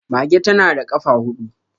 Mage ta na da kafa hudu.